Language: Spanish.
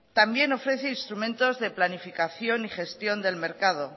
también ofrece instrumentos de planificación y gestión del mercado